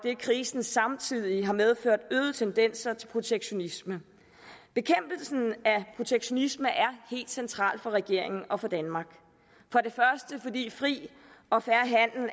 at krisen samtidig har medført øgede tendenser til protektionisme bekæmpelsen af protektionisme er helt central for regeringen og for danmark fordi fri og fair